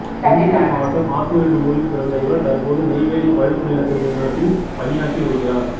திண்டுக்கல் மாவட்டம் ஆத்தூர் எனும் ஊரில் பிறந்த இவர் தற்போது நெய்வேலி பழுப்பு நிலக்கரி நிறுவனத்தில் பணியாற்றி வருகிறார்